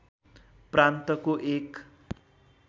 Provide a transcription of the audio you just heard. प्रान्तको एक